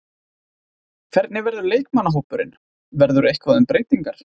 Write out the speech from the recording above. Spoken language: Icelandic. Hvernig verður leikmannahópurinn, verður eitthvað um breytingar?